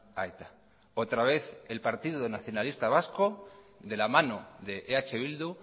a eta otra vez el partido nacionalista vasco de la mano de eh bildu